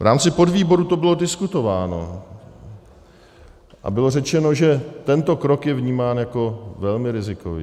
V rámci podvýboru to bylo diskutováno a bylo řečeno, že tento krok je vnímám jako velmi rizikový.